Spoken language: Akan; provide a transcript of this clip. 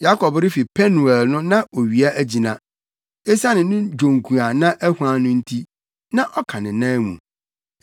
Yakob refi Penuel no na owia agyina. Esiane ne dwonku a na ahuan no nti, na ɔka ne nan mu.